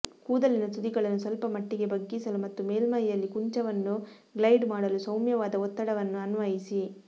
ಕೂದಲಿನ ತುದಿಗಳನ್ನು ಸ್ವಲ್ಪಮಟ್ಟಿಗೆ ಬಗ್ಗಿಸಲು ಮತ್ತು ಮೇಲ್ಮೈಯಲ್ಲಿ ಕುಂಚವನ್ನು ಗ್ಲೈಡ್ ಮಾಡಲು ಸೌಮ್ಯವಾದ ಒತ್ತಡವನ್ನು ಅನ್ವಯಿಸಿ